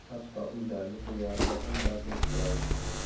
Hatto uylarning devoriga ham rasm chizadi.